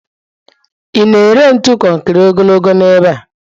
Ị na-ere ntu konkiri ogologo n'ebe a?